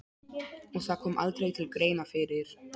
Og það kom aldrei til greina fyrir